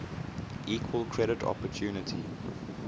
equal credit opportunity